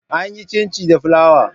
An yi Cincin da flawa.